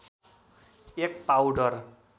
एक पाउडर